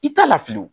I t'a lafili